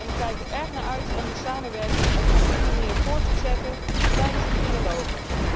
Ik kijk er erg naar uit om die samenwerking op een goede manier voort te zetten tijdens de trialogen.